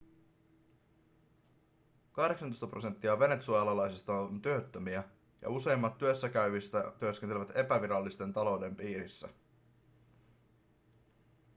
kahdeksantoista prosenttia venezuelalaisista on työttömiä ja useimmat työssä käyvistä työskentelevät epävirallisen talouden piirissä